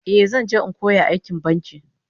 Eh, zan je in koyo aikin banki